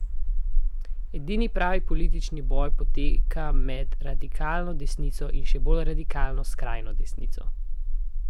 Edini pravi politični boj poteka med radikalno desnico in še bolj radikalno skrajno desnico.